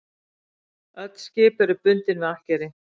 Öll skip eru bundin við akkeri